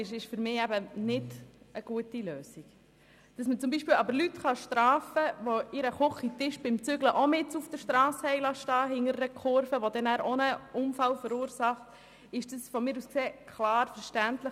Dass man hingegen Leute bestrafen kann, die beim Umzug ihren Küchentisch mitten auf der Strasse an unübersichtlicher Stelle stehen lassen und so einen Unfall verursachen, ist verständlich.